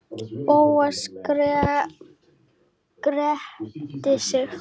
Bóas gretti sig.